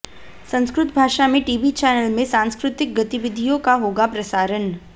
संस्कृत भाषा में TV channel में सांस्कृतिक गतिविधियों का होगा प्रसारण